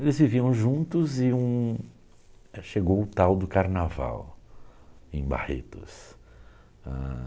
Eles viviam juntos e um chegou o tal do carnaval em Barretos. Ah..